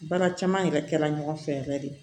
Baara caman yɛrɛ kɛra ɲɔgɔn fɛ yɛrɛ de